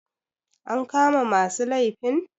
an kama masu laifin